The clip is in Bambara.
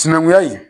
Sinankunya in